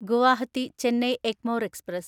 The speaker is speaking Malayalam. ഗുവാഹത്തി ചെന്നൈ എഗ്മോർ എക്സ്പ്രസ്